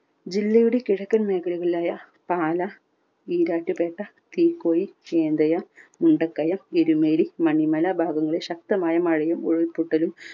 ജില്ലയുടെ കിഴക്കൻ മേഖകളിലായ പാലാ ഈരാറ്റുപേട്ട തീക്കോയി ചീന്തയാ മുണ്ടക്കയം എരുമേലി മണിമല ഭാഗങ്ങളിൽ ശക്തമായ മഴയും ഉരുൾ പൊട്ടലും